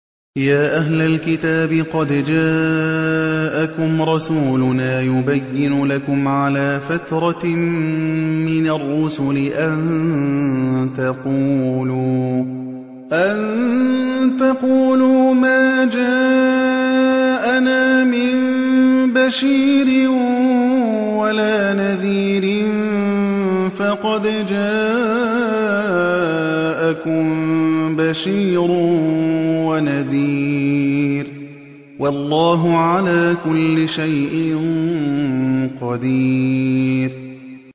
يَا أَهْلَ الْكِتَابِ قَدْ جَاءَكُمْ رَسُولُنَا يُبَيِّنُ لَكُمْ عَلَىٰ فَتْرَةٍ مِّنَ الرُّسُلِ أَن تَقُولُوا مَا جَاءَنَا مِن بَشِيرٍ وَلَا نَذِيرٍ ۖ فَقَدْ جَاءَكُم بَشِيرٌ وَنَذِيرٌ ۗ وَاللَّهُ عَلَىٰ كُلِّ شَيْءٍ قَدِيرٌ